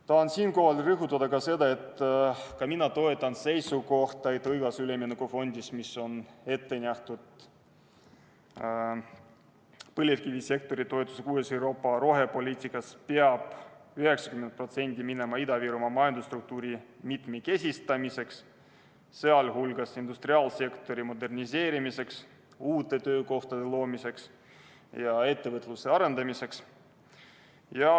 Tahan rõhutada ka seda, et minagi toetan seisukohta, et õiglase ülemineku fondist, mis on ette nähtud põlevkivisektori toetuseks uues Euroopa rohepoliitikas, peab 90% minema Ida-Virumaa majandusstruktuuri mitmekesistamiseks, sh industriaalsektori moderniseerimiseks, uute töökohtade loomiseks ja ettevõtluse arendamiseks.